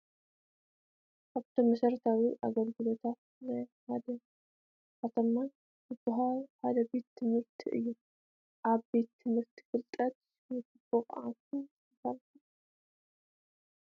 ካብቶም መሰረታዊ አጋልግሎታትን ናይ ሓንቲ ከተማ ዝባሃሉ ሓደ ቤት ት/ቲ እዩ፡፡ ኣብ ቤት ት/ቲ ፍልጠት ይሽመት፡፡ ብቑዓትን ጠንካራታትን ዜጋታት ይፈርዩ፡፡